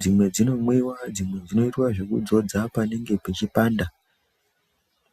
dzimwe dzinomwiwa dzimwe dzinoitwa zvekudzodzwa panenge pechipanda.